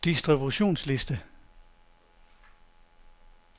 distributionsliste